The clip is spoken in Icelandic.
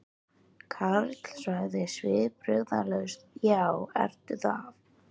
Karl sagði svipbrigðalaus: Já, ertu það?